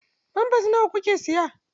Famfers nawa kuke siyan?